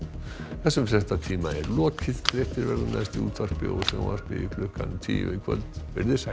þessum fréttatíma er lokið fréttir verða næst í útvarpi og sjónvarpi klukkan tíu í kvöld verið þið sæl